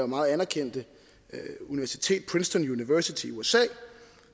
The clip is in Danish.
meget anerkendte universitet princeton university i usa